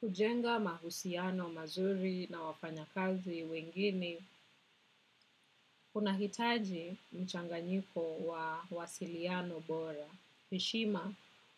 Kujenga mahusiano mazuri na wafanyakazi wengine, unahitaji mchanganyiko wa wasiliano bora. Heshima,